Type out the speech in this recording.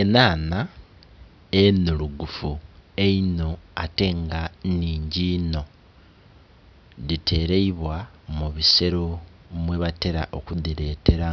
Enhanha enhurugufu einho ate nga nnhingi inho dhitereibwa mu bisero mwe batera oku dhitera